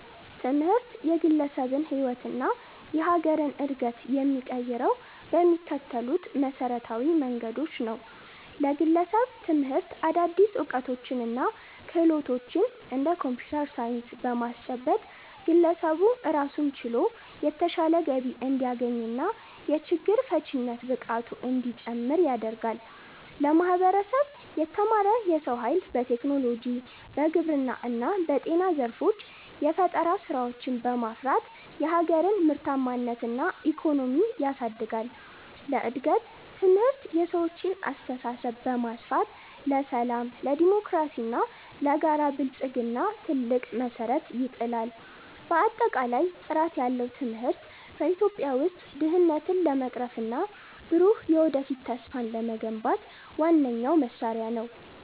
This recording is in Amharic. ትምህርት የግለሰብን ሕይወትና የሀገርን ዕድገት የሚቀይረው በሚከተሉት መሠረታዊ መንገዶች ነው፦ ለግለሰብ፦ ትምህርት አዳዲስ ዕውቀቶችንና ክህሎቶችን (እንደ ኮምፒውተር ሳይንስ) በማስጨበጥ፣ ግለሰቡ ራሱን ችሎ የተሻለ ገቢ እንዲያገኝና የችግር ፈቺነት ብቃቱ እንዲጨምር ያደርጋል። ለማህበረሰብ፦ የተማረ የሰው ኃይል በቴክኖሎጂ፣ በግብርና እና በጤና ዘርፎች የፈጠራ ስራዎችን በማፍራት የሀገርን ምርታማነትና ኢኮኖሚ ያሳድጋል። ለእድገት፦ ትምህርት የሰዎችን አስተሳሰብ በማስፋት፣ ለሰላም፣ ለዴሞክራሲና ለጋራ ብልጽግና ትልቅ መሠረት ይጥላል። ባጠቃላይ፣ ጥራት ያለው ትምህርት በኢትዮጵያ ውስጥ ድህነትን ለመቅረፍና ብሩህ የወደፊት ተስፋን ለመገንባት ዋነኛው መሳሪያ ነው።